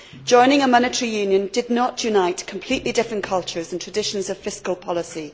Joining a monetary union did not unite completely different cultures and traditions of fiscal policy.